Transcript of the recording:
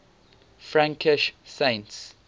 frankish saints